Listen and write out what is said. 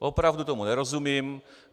Opravdu tomu nerozumím.